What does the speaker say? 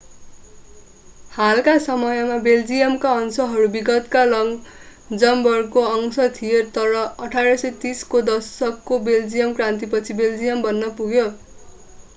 हालका समयमा बेल्जियमका अंशहरू विगतमा लक्जमबर्गको अंश थिए तर 1830 को दशकको बेल्जियन क्रान्तिपछि बेल्जियम बन्न पुग्यो